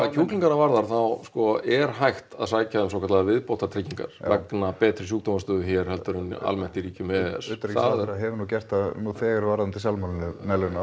kjúklingana varðar þá er hægt að sækja um svokallaðar viðbótartryggingar vegna betri sjúkdómastöðu hér heldur en almennt í ríkjum e e s utanríkisráðherra hefur nú gert það nú þegar varðandi salmonelluna